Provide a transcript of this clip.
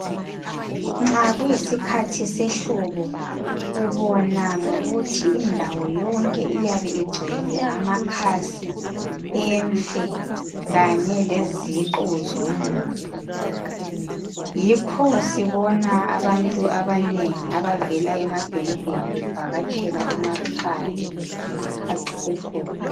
Nxa kuyisikhathi sehlobo ubona ngokuthi indawo yonke iyabe igcwele amakhasi emfe kanye leziqu zomumbu yikho sibona abantu abanengi abavela emadolobheni bevakatshela emakhaya ngesikhathi sehlobo